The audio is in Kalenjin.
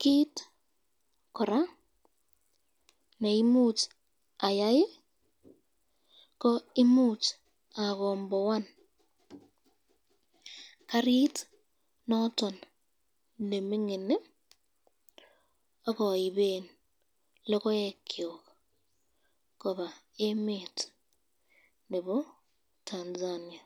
kit koraa neimuch ayai ko imuch akomboan karit noton nemingin akaiben lokokyuk koba emet nebo Tanzania.